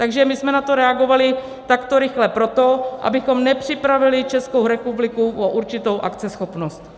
Takže my jsme na to reagovali takto rychle proto, abychom nepřipravili Českou republiku o určitou akceschopnost.